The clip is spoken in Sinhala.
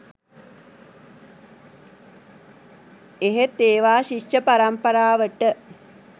එහෙත් ඒවා ශිෂ්‍ය පරම්පරාවට